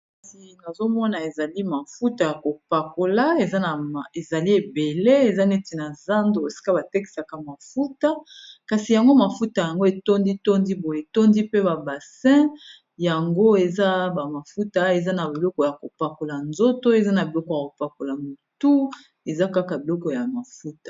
kasi nazomona ezali mafuta ya kopakola ezali ebele eza neti na zando esika batekisaka mafuta kasi yango mafuta yango etondi tondi boetondi pe babasein yango eza bamafuta eza na biloko ya kopakola nzoto eza na biloko ya kopakola motu eza kaka biloko ya mafuta